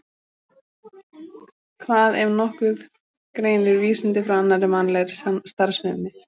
Hvað, ef nokkuð, greinir vísindi frá annarri mannlegri starfsemi?